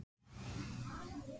Staða efstu karla